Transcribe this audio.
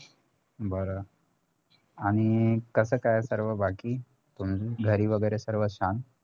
बर आणि कसं काय सर्व बाकी तुमचं घरी वैगेरे सर्व छान